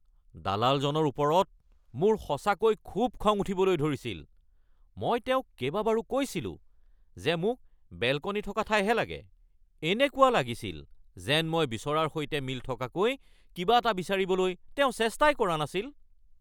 দালালজনৰ ওপৰত মোৰ সঁচাকৈ খুব খং উঠিবলৈ ধৰিছিল। মই তেওঁক কেইবাবাৰো কৈছিলোঁ যে মোক বেলকনী থকা ঠাইহে লাগে। এনেকুৱা লাগিছিল যেন মই বিচৰাৰ সৈতে মিল থকাকৈ কিবা এটা বিচাৰিবলৈ তেওঁ চেষ্টাই কৰা নাছিল।